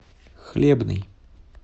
хлебный